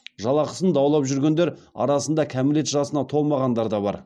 жалақысын даулап жүргендер арасында кәмелет жасына толмағандар да бар